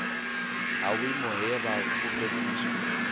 ha vhuimo he ha fhulufhedziswa